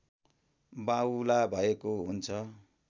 बाहुला भएको हुन्छ